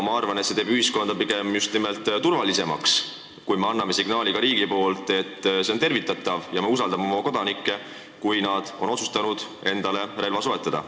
Mina arvan, et see teeb ühiskonna pigem just nimelt turvalisemaks, kui riik annab signaali, et see on tervitatav ja me usaldame oma kodanikke, kui nad on otsustanud endale relva soetada.